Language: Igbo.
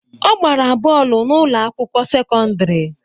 Ọ gbara bọọlụ n'ụlọ akwụkwọ sekọndrị